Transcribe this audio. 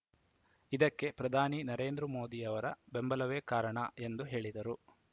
ಇದಕ್ಕೆ ಪ್ರಧಾನಿ ನರೇಂದ್ರಮೋದಿರವರ ಬೆಂಬಲವೇ ಕಾರಣ ಎಂದು ಹೇಳಿದರು